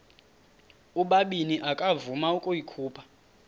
ubabini akavuma ukuyikhupha